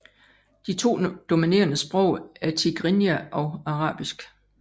De to dominerende sprog er tigrinja og arabisk